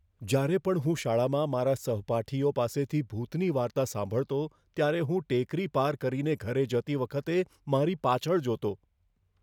જ્યારે પણ હું શાળામાં મારા સહપાઠીઓ પાસેથી ભૂતની વાર્તા સાંભળતો, ત્યારે હું ટેકરી પાર કરીને ઘરે જતી વખતે મારી પાછળ જોતો.